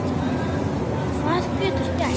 Hvað getur gerst?